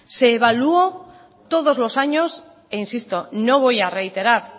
se evaluó todos los años e insisto no voy a reiterar